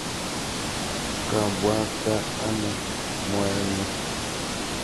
Kaabwaanta ano moeng'ung?